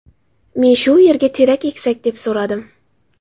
Men shu yerga terak eksak, deb so‘radim.